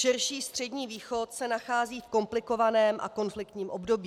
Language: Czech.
Širší Střední východ se nachází v komplikovaném a konfliktním období.